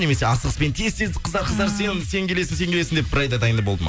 немесе асығыспен тез тез қыздар қыздар сен сен келесің сен келесің деп бір айда дайын болды ма